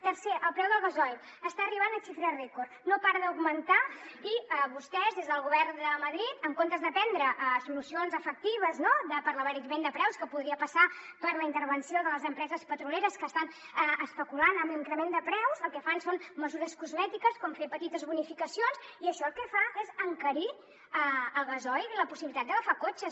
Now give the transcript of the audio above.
tercer el preu del gasoil està arribant a xifres rècord no para d’augmentar i vostès des del govern de madrid en comptes de prendre solucions efectives no per a l’abaratiment de preus que podria passar per la intervenció de les empreses petrolieres que estan especulant amb l’increment de preus el que fan són mesures cosmètiques com fer petites bonificacions i això el que fa és encarir el gasoil i la possibilitat d’agafar cotxes